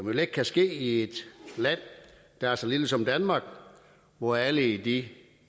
jo let kan ske i et land der er så lille som danmark hvor alle i de